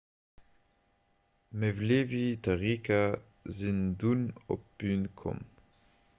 d'mevlevi-tariqa sinn dunn op d'bün komm